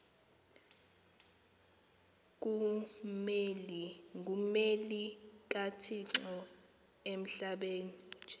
ngummeli kathixo emhlabeni